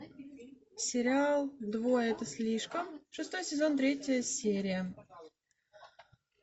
сериал двое это слишком шестой сезон третья серия